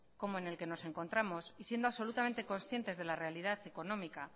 como en el que nos encontramos y siendo absolutamente concientes de la realidad económica